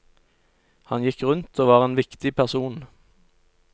Han gikk rundt og var en viktig person.